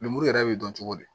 Lemuru yɛrɛ bɛ dɔn cogo di